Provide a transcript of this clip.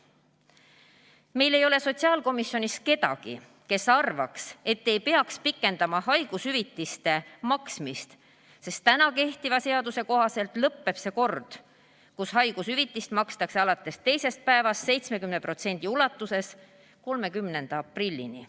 Meil ei ole sotsiaalkomisjonis kedagi, kes arvaks, et ei peaks pikendama haigushüvitiste maksmist, sest täna kehtiva seaduse kohaselt lõpeb see kord, kus haigushüvitist makstakse alates teisest päevast 70% ulatuses, 30. aprillil.